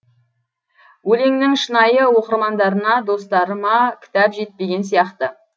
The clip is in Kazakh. өлеңнің шынайы оқырмандарына достарыма кітап жетпеген сияқты